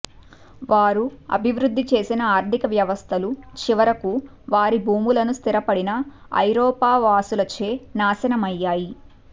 వారు అభివృద్ధి చేసిన ఆర్థిక వ్యవస్థలు చివరకు వారి భూములను స్థిరపడిన ఐరోపావాసులచే నాశనమయ్యాయి